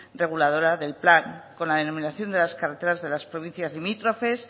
reguladora del plan con la denominación de las carreteras de las provincias limítrofes